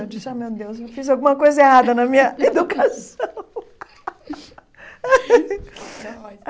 Eu disse, ah, meu Deus, eu fiz alguma coisa errada na minha educação não mas.